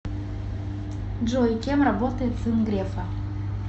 джой кем работает сын грефа